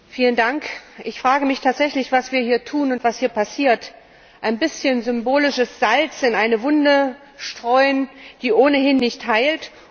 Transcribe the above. Frau Präsidentin! Ich frage mich tatsächlich, was wir hier tun und was hier passiert Ein bisschen symbolisches Salz in eine Wunde streuen, die ohnehin nicht heilt.